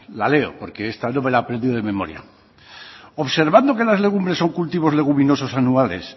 la leo porque esta no me la he aprendido de memoria observando que las legumbres son cultivos leguminosos anuales